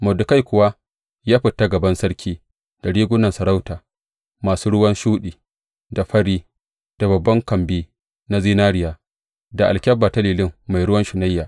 Mordekai kuwa ya fita a gaban sarki da rigunan sarauta, masu ruwan shuɗi, da fari, da babban kambi na zinariya, da alkyabba ta lilin mai ruwan shunayya.